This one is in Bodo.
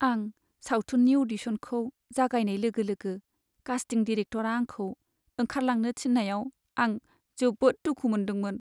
आं सावथुननि अडिसनखौ जागायनाय लोगो लोगो कास्टिं डिरेक्ट'रआ आंखौ ओंखार लांनो थिन्नायाव आं जोबोद दुखु मोनदोंमोन।